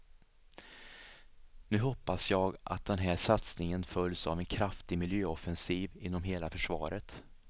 Nu hoppas jag att den här satsningen följs av en kraftig miljöoffensiv inom hela försvaret.